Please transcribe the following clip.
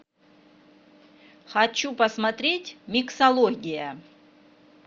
хочу посмотреть миксология